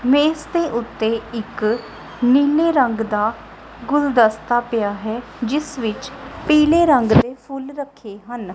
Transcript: ਮੇਜ ਦੇ ਉੱਤੇ ਇੱਕ ਨੀਲੇ ਰੰਗ ਦਾ ਗੁਲਦਸਤਾ ਪਿਆ ਹੈ ਜਿਸ ਵਿੱਚ ਪੀਲੇ ਰੰਗ ਦੇ ਫੁੱਲ ਰੱਖੇ ਹਨ।